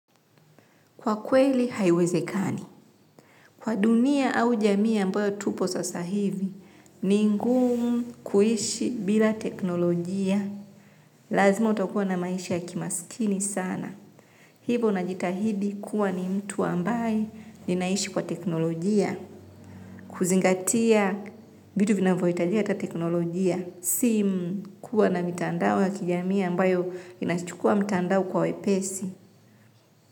Kwa kweli, haiwezekani. Kwa dunia au jamii ambayo tupo sasa hivi, ni ngumu kuishi bila teknolojia. Lazima utakuwa na maisha ya kimasikini sana. Hivo najitahidi kuwa ni mtu ambaye ninaishi kwa teknolojia. Kuzingatia vitu vinavyoitajika la teknolojia. Simu kuwa na mitandao ya kijamii ambayo inachukua mtandao kwa wepesi.